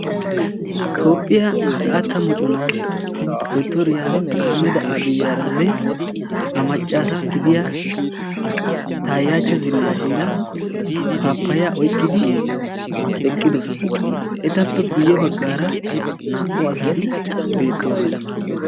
tophphiya xaatta moconaa dottoriya ahmeda abiranne a maccaasa gidiya taayachchi zinnaashiira paappaya oyikkidi eqqidosona. etappe guyye baggaara naa"u asati beettoosona.